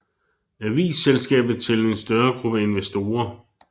Avis selskabet til en gruppe større investorer